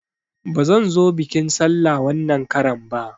Bazan zo biƙin sallah wanan karan ba